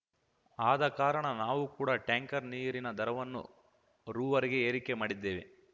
ಆದ ಕಾರಣ ನಾವೂ ಕೂಡ ಟ್ಯಾಂಕರ್ ನೀರಿನ ದರವನ್ನು ರೂವರೆಗೆ ಏರಿಕೆ ಮಾಡಿದ್ದೇವೆ